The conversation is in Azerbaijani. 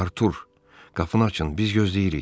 Artur, qapını açın, biz gözləyirik.